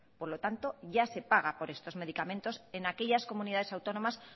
por lo tanto ya se paga por estos medicamentos en aquellas comunidades autónomas